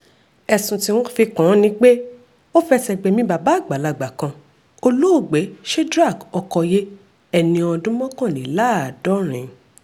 ẹ̀sùn tí wọ́n fi kàn án ni pé ó fẹsẹ̀ gbẹ̀mí bàbá àgbàlagbà kan olóògbé shedrack ọkọyé ẹni ọdún mọ́kànléláàádọ́rin